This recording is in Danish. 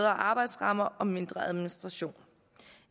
arbejdsrammer og mindre med administration